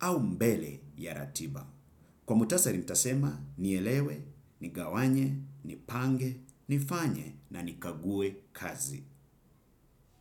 au mbele ya ratiba. Kwa muktasari utasema nielewe, nigawanye, nipange, nifanye na nikague kazi.